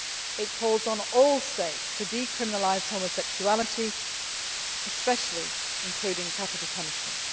It calls on all states to decriminalise homosexuality, especially including capital punishment.